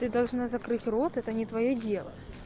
ты должна закрыть рот это не твоё дело